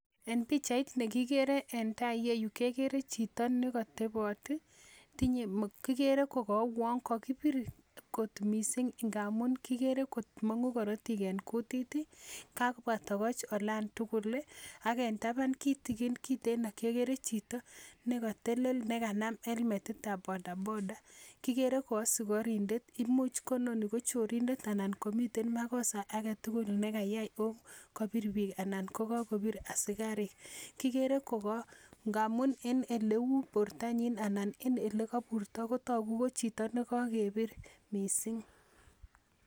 En pichait nekigere eng tai iyeyu kekere chito nekatebot ,kigere ko kauo kokakipir kot mising ngamun kikere komang'u korotik eng kutit, kapwa tokoch olandugul ak en taban kitigin kiteeno kekere chito nekatelel ne kanam helmetitab bodaboda,. Kigere ko asikarindet imuch ko inoni ko chorindet anan kamiten makosa agetugul kayai ako kapir pik anan kakopir asikarik. Kigere koka ngamun en eleu portanyi ko chito nekakepir mising.